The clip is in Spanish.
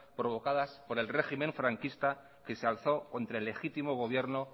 provocadas por el régimen franquista que se alzó contra legítimo gobierno